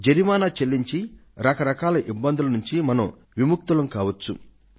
జరిమానా చెల్లించి రక రకాల ఇబ్బందుల నుండి మనం విముక్తులం కావచ్చు